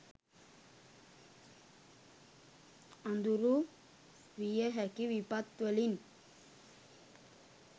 අඳුරු විය හැකි විපත් වලින්